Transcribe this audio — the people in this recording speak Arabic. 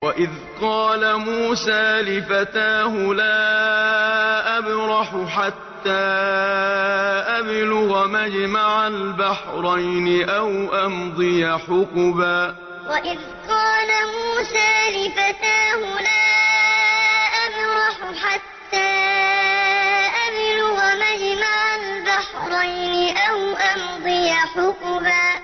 وَإِذْ قَالَ مُوسَىٰ لِفَتَاهُ لَا أَبْرَحُ حَتَّىٰ أَبْلُغَ مَجْمَعَ الْبَحْرَيْنِ أَوْ أَمْضِيَ حُقُبًا وَإِذْ قَالَ مُوسَىٰ لِفَتَاهُ لَا أَبْرَحُ حَتَّىٰ أَبْلُغَ مَجْمَعَ الْبَحْرَيْنِ أَوْ أَمْضِيَ حُقُبًا